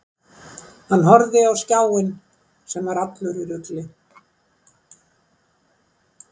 Hann horfði á skjáinn sem var allur í rugli.